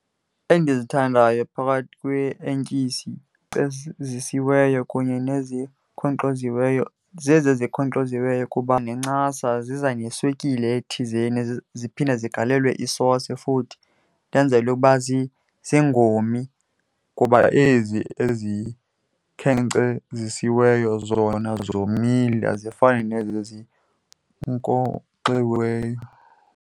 Endizithandayo phakathi kwee-ertyisi ezikhenkcezisiweyo kunye nezikhonkxoziweyo zezi zikhonkxoziweyo kuba nencasa ziza neswekile ethizeni, ziphinde zigalelwe isosi futhi ndenzelwe uba zingomi kuba ezi ezikhenkcezisiweyo zona zomile azifani nezi zinkonkxiweyo.